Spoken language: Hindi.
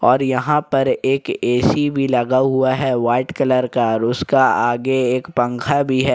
और यहां पर एक ए_सी भी लगा हुआ है वाइट कलर का और उसका आगे एक पंखा भी है।